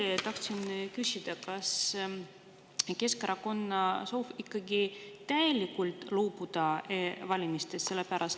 Ja veel tahtsin küsida, kas Keskerakonna soov on ikkagi täielikult loobuda e-valimistest.